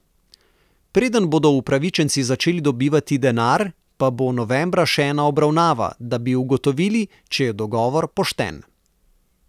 Preden bodo upravičenci začeli dobivati denar pa bo novembra še ena obravnava, da bi ugotovili, če je dogovor pošten.